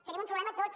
tenim un problema tots